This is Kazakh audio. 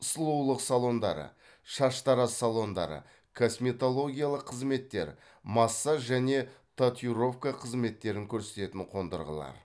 сұлулық салондары шаштараз салондары косметологиялық қызметтер массаж және татиюровка қызметтерін көрсететін қондырғылар